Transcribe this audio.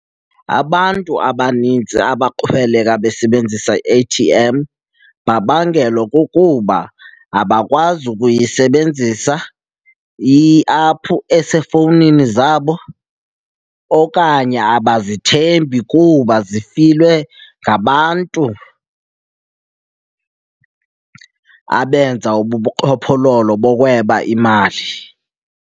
Abantu abanintsi abaxhweleka besebenzisa i-A_T_M babangelwa kukuba abakwazi ukuyisebenzisa iaphu esefowunini zabo okanye abazithembi kuba zifilwe ngabantu abenza ubuqhophololo bokweba imali.